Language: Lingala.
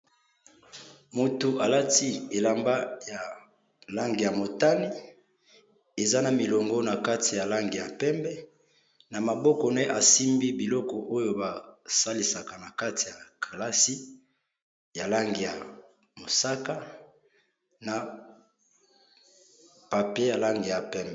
Mutu alati elamba eza na langi ya motane, eza na milongo na kati ya langi ya pembe